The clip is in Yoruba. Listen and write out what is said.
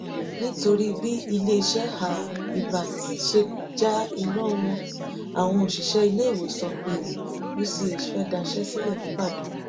nítorí bí iléeṣẹ um ibertz ṣe já iná wọn àwọn òṣìṣẹ iléèwòsàn um uch fee daṣẹ sílẹ nìbàdàn